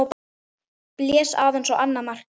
Blés aðeins á annað markið.